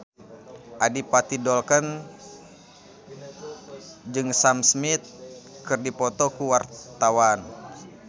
Adipati Dolken jeung Sam Smith keur dipoto ku wartawan